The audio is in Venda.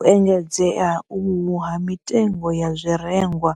U engedzea uhu ha mitengo ya zwirengwa,